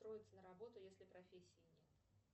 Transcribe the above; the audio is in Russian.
устроиться на работу если профессии нет